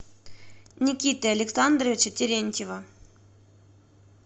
никиты александровича терентьева